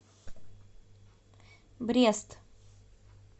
брест